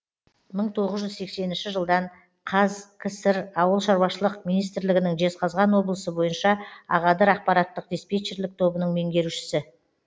мың тоғыз жүз сексенінші жылдан қазкср ауыл шаруашылық министрлігінің жезқазған облысы бойынша ағадыр ақпараттық диспетчерлік тобының меңгерушісі